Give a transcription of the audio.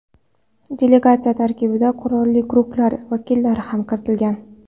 Delegatsiya tarkibiga qurolli guruhlar vakillari ham kiritilgan.